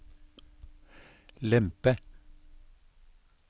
lempe